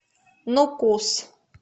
нукус